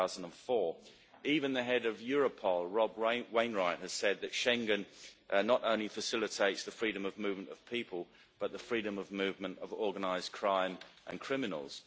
2004. Even the Head of Europol, Rob Wainwright, has said that Schengen not only facilitates the freedom of movement of people, but the freedom of movement of organised crime and criminals.